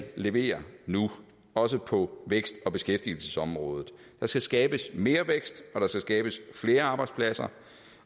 levere nu også på vækst og beskæftigelsesområdet der skal skabes mere vækst og der skal skabes flere arbejdspladser